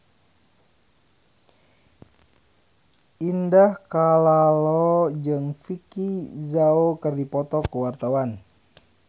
Indah Kalalo jeung Vicki Zao keur dipoto ku wartawan